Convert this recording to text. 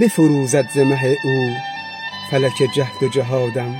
بفروزد ز مه او فلک جهد و جهادم